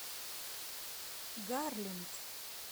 гарленд